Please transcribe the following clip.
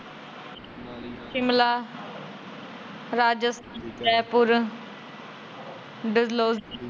ਸ਼ਿਮਲਾ, ਰਾਜਸ ਜੈਪੁਰ